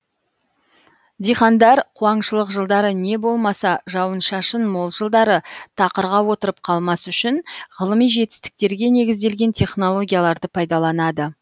диқандар қуаңшылық жылдары не болмаса жауын шашын мол жылдары тақырға отырып қалмас үшін ғылыми жетістіктерге негізделген технологияларды пайдаланады